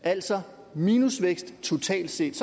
altså minusvækst totalt set